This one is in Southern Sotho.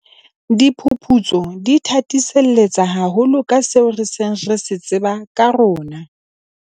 Diphuputso di thathiselletsa haholo ka seo re seng re se tseba ka rona.